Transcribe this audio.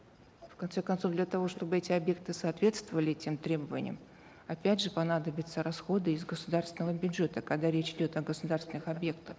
в конце концов для того чтобы эти объекты соответствовали тем требованиям опять же понадобятся расходы из государственного бюджета когда речь идет о государственных объектах